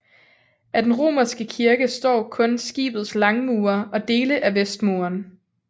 Af den romanske kirke står kun skibets langmure og dele af vestmuren